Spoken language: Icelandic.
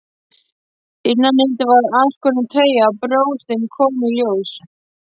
Innanundir var aðskorin treyja og brjóstin komu í ljós.